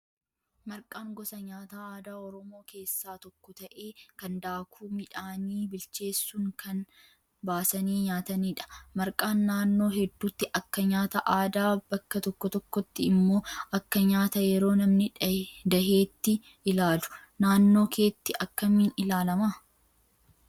Marqaan gosa nyaataa aadaa oromoo keessaa tokko ta'ee kan daakuu midhaanii bilcheessuuun kan baasanii nyaatanidha. Marqaan naannoo hedduutti Akka nyaata aadaa bakka tokko tokkotti immoo Akka nyaata yeroo namni daheetti ilaalu. Naannoo keetti akkamiin ilaalamaa?